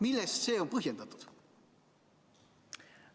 Millega see on põhjendatud?